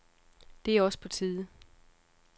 Det er også på tide.